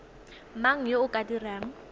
mang yo o ka dirang